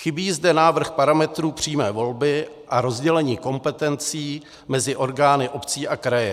Chybí zde návrh parametrů přímé volby a rozdělení kompetencí mezi orgány obcí a kraje.